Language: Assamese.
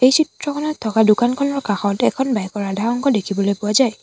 এই চিত্ৰখনত থকা দোকানখনৰ কাষত এখন বাইক ৰ আধা অংশ দেখিবলৈ পোৱা যায়।